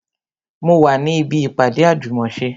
Mo wà ní ibi ìpàdé àjùmòse